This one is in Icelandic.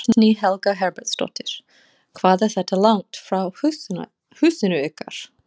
Guðný Helga Herbertsdóttir: Hvað er þetta langt frá húsinu ykkar?